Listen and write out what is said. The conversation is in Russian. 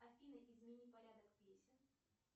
афина измени порядок песен